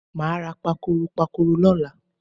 Mo máa ra pakòròpakòrò lọ́la.